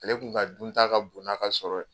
Ale kun ka dunta ka bon n'a ka sɔrɔ ye.